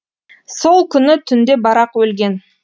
сол күні түнде барақ өлген